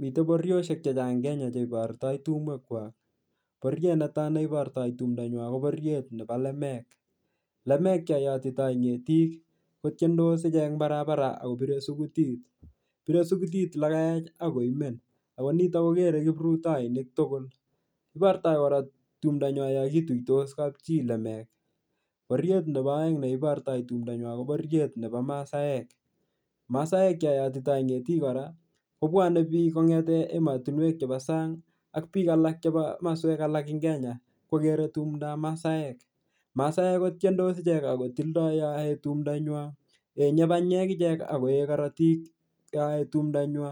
Mite bororiosiek chechang Kenya che iborto tumwek kwak. Bororiet netai neiborto tumnda nywan ko bororietnebo lemek. Lemek cho yotitoi ngetik kotiendos ichek eng barabara ak kobire sugutit. Bire sugutit olekaech ak koimen ago nito kogere kiprutoinik tugul. Ibortoi kora tumnda nyai yokituitos kapchi lemek. Bororiet nebo aeng ne ibortoi tumndanywai ko bororiet nebo maasaek. Masaek yoyotitoi ngetik kobwane biik kongete imatinwek chebo sang ak biik alak chebo maswek alak eng Kenya. Kogere tumndab masaek. Masaek ko tiendos ichek ak kotildoi yo yoe tumndanywan. Yenye banyek ichek ak koe korotik yoyoe tumndanywa.